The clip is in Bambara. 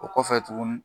O kɔfɛ tuguni